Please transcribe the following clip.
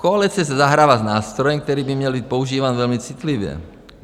Koalice si zahrává s nástrojem, který by měl být používán velmi citlivě.